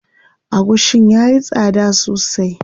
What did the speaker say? Agushin yayi tsada sosai.